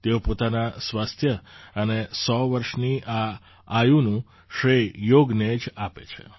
તેઓ પોતાના સ્વાસ્થ્ય અને ૧૦૦ વર્ષની આ આયુનું શ્રેય યોગને જ આપે છે